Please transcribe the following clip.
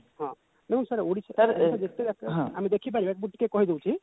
ହଁ ନାଇଁ sir Odisha sir ଆମେ ଦେଖିପାରିବା କିନ୍ତୁ ଟିକେ କହିଦଉଛି